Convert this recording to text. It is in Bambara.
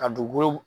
Ka dugukolo